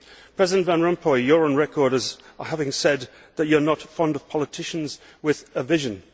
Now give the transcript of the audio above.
President van Rompuy, you are on record as having said that you are not fond of politicians with a vision.